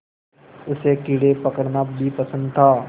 उसे कीड़े पकड़ना भी पसंद था